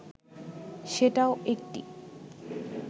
সেটাও একটি